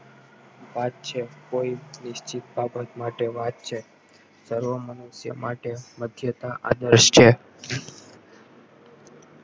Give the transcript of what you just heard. વાત છે કોઈ નિશ્ચિત બાબત માટે વાત છે સર્વો મનુષ્યો માટે માંધાતા છે